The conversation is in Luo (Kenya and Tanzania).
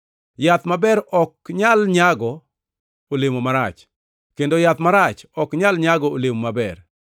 Yath maber ok nyal nyago olemo marach, kendo yath marach ok nyal nyago olemo maber.